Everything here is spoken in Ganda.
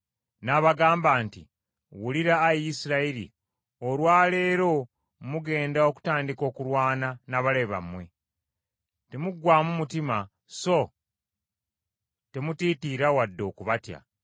n’abagamba nti, “Wulira, Ayi Isirayiri! Olwa leero mugenda okutandika okulwana n’abalabe bammwe. Temuggwaamu mutima, so temutiitiira wadde okubatya.